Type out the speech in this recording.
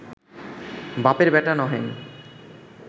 বাপের বেটা নহেন